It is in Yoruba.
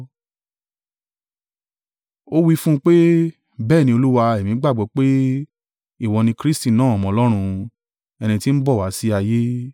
Ó wí fún un pé, “Bẹ́ẹ̀ ni, Olúwa, èmi gbàgbọ́ pé, ìwọ ni Kristi náà Ọmọ Ọlọ́run, ẹni tí ń bọ̀ wá sí ayé.”